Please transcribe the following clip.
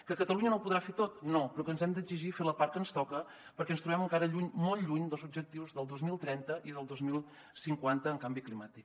que catalunya no ho podrà fer tot no però que ens hem d’exigir fer la part que ens toca perquè ens trobem encara lluny molt lluny dels objectius del dos mil trenta i del dos mil cinquanta en canvi climàtic